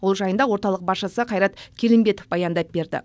ол жайында орталық басшысы қайрат келімбетов баяндап берді